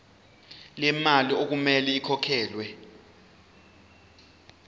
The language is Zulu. lemali okumele ikhokhelwe